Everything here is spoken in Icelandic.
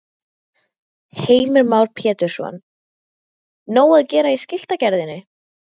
Heimir Már Pétursson: Nóg að gera í skiltagerðinni?